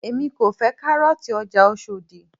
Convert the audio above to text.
èmi kò fẹ́ kárọ̀ọ̀tì ọjà Oshodi